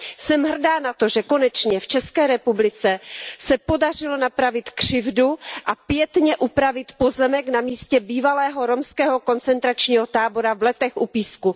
Jsem hrdá na to, že konečně v ČR se podařilo napravit křivdu a pietně upravit pozemek na místě bývalého romského koncentračního tábora v Letech u Písku.